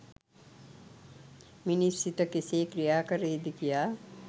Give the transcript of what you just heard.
මිනිස් සිත කෙසේ ක්‍රියා කරයි ද කියා.